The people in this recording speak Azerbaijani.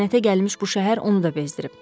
Lənətə gəlmiş bu şəhər onu da bezdirib.